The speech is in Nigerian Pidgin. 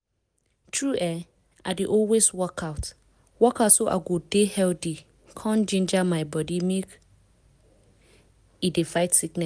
true[um]i dey always work out work out so i go dey healthy con ginger my body make e dey fight sickness.